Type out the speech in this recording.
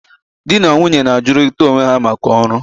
di na nwunye na-ajụrịta onwe ha maka ọrụ.